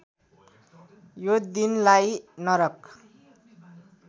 यो दिनलाई नरक